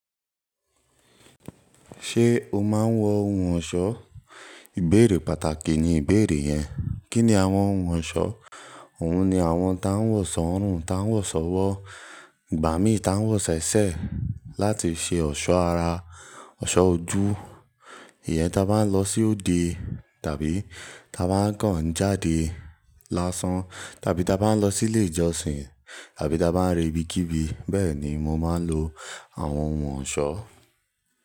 Ṣé o máa ń wọ ohun ọ̀ṣọ́? Ìbéèrè pàtàkì ni ìbéèrè yẹn. Kí ni àwọn ohun ọ̀ṣọ́? Òun ni àwọn tá ń wọ̀ sọ́ ọ̀rùn, tá ń wọ̀ sọ́wọ́, igbàmí tá ń wọ̀ ṣẹ̀ṣẹ̀ láti ṣe ọ̀ṣọ́ ara, ọ̀ṣọ́ ojú. Iyẹn tá bá ń lọ sí òde tàbí tá bá ń kàn jáde lásán, tàbí tá bá ń lọ sí ilé ìjọsìn, tàbí tá bá ń re ibikíbi. Bẹ́ẹ̀ ni mo máa ń lo àwọn ohun ọ̀ṣọ́.